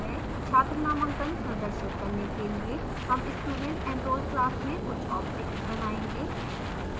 छात्र नामांकन प्रदर्शित करने के लिए हम studentenroll class में कुछ objects बनायेंगे